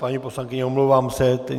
Paní poslankyně, omlouvám se.